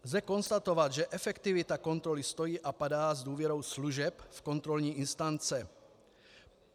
Lze konstatovat, že efektivita kontroly stojí a padá s důvěrou služeb v kontrolní instance.